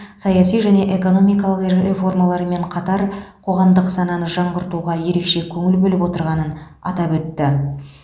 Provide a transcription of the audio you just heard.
саяси және экономикалық реформалармен қатар қоғамдық сананы жаңғыртуға ерекше көңіл бөліп отырғанын атап өтті